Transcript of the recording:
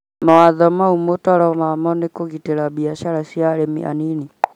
Mawatho mau mutoro wamo ni kũgitĩra biacara cia arĩmi anini